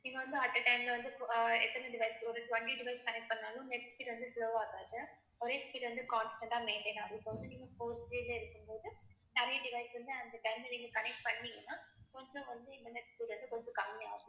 இங்க வந்து at a time ல வந்து அஹ் எத்தன device ஒரு twenty device connect பண்ணாலும் நெட் speed வந்து slow ஆகாது ஒரே speed வந்து constant ஆ maintain ஆகும் இப்ப வந்து நீங்க post paid ல இருக்கும் போது நெறைய device வந்து அந்த time ல நீங்க connect பண்ணீங்கன்னா கொஞ்சம் வந்து இன்டர்நெட் speed வந்து கொஞ்ச கம்மி ஆகும்